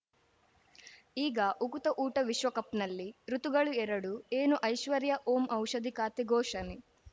ಈಗ ಉಕುತ ಊಟ ವಿಶ್ವಕಪ್‌ನಲ್ಲಿ ಋತುಗಳು ಎರಡು ಏನು ಐಶ್ವರ್ಯಾ ಓಂ ಔಷಧಿ ಖಾತೆ ಘೋಷಣೆ